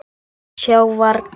Sjá varla.